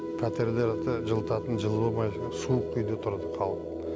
пәтерлерді жылытатын жылу болмай суық үйде тұрды халық